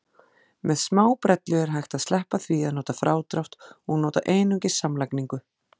Með smábrellu er hægt að sleppa því að nota frádrátt og nota einungis samlagningu.